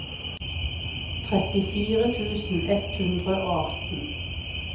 trettifire tusen ett hundre og atten